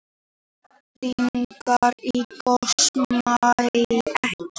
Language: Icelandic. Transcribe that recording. Eldingar í gosmekki